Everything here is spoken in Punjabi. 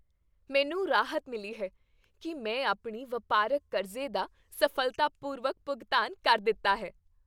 ਮੈਨੂੰ ਰਾਹਤ ਮਿਲੀ ਹੈ ਕਿ ਮੈਂ ਆਪਣੀ ਵਪਾਰਕ ਕਰਜ਼ੇ ਦਾ ਸਫ਼ਲਤਾਪੂਰਵਕ ਭੁਗਤਾਨ ਕਰ ਦਿੱਤਾ ਹੈ।